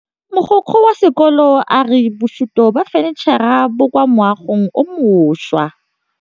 Mogokgo wa sekolo a re bosutô ba fanitšhara bo kwa moagong o mošwa.